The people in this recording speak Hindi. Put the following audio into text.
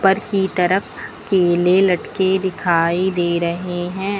उपर की तरफ केले लटके दिखाई दे रहे हैं।